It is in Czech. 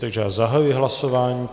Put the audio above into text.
Takže já zahajuji hlasování.